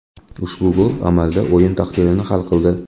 Ushbu gol amalda o‘yin taqdirini hal qildi.